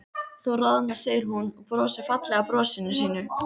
Þú roðnar, segir hún og brosir fallega brosinu sínu.